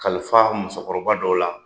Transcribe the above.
Kalifa musokɔrɔba dɔ la